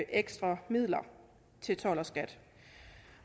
ekstra midler til skat